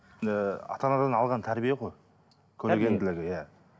ыыы ата анадан алған тәрбие ғой көргенділігі иә